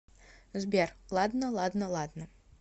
сбер ладно ладно ладно